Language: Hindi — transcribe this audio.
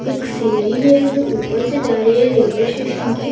एक सीढ़ी भी है जो ऊपर से जा रही है रेलवे स्टेशन की--